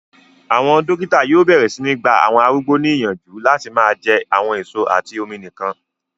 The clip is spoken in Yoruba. Àwọn dókítà yóò bẹ̀rẹ̀ sí ní gba àwọn arúgbó ní yànjú láti máa jẹ àwọn èso àti omi nìkan